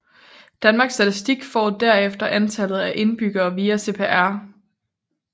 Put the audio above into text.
Danmarks Statistik får derefter antallet af indbyggere via CPR